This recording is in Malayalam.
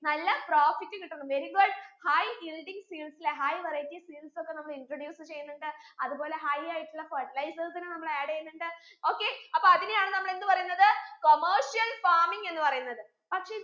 നല്ല profit കിട്ടണം very good high yielding seeds ലെ high varieties seeds ഒക്കെ നമ്മൾ introduce ചെയ്യുന്നുണ്ട് അത് പോലെ high ആയിട്ടുള്ള fertilizers നെ നമ്മൾ add എയ്യുന്നുണ്ട് okay അപ്പൊ അതിനെയാണ് നമ്മൾ എന്ത് പറയുന്നത് commercial farming എന്ന് പറയുന്നത് പക്ഷെ